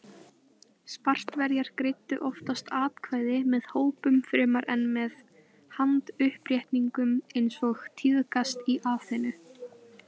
Spartverjar greiddu oftast atkvæði með hrópum fremur en með handauppréttingum eins og tíðkaðist í Aþenu.